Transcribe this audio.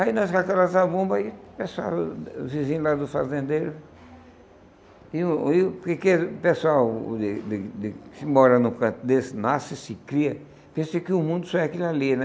Aí nós com aquelas zabumbas aí, o pessoal, o vizinho lá do fazendeiro... E o e o o pessoal de de de que mora no canto desse, nasce, se cria, pensa que o mundo só é aquilo ali, né?